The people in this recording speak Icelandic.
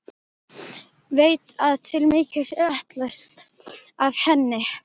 Veit að til mikils er ætlast af henni.